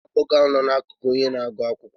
Ònye bụ nwa agbọghọ ahụ n'akụkụ onye na-agụ akwụkwọ?